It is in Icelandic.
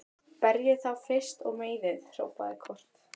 Berjið þá fyrst og meiðið, hrópaði Kort.